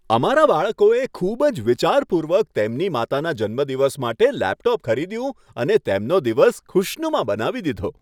અમારા બાળકોએ ખૂબ જ વિચારપૂર્વક તેમની માતાના જન્મદિવસ માટે લેપટોપ ખરીદ્યું અને તેમનો દિવસ ખૂશનુમા બનાવી દીધો.